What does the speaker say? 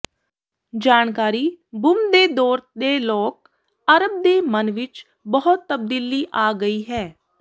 ਜਾਣਕਾਰੀ ਬੂਮ ਦੇ ਦੌਰ ਦੇ ਲੋਕ ਅਰਬ ਦੇ ਮਨ ਵਿਚ ਬਹੁਤ ਤਬਦੀਲੀ ਆ ਗਈ ਹੈ